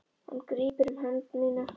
Hann grípur um hönd mína.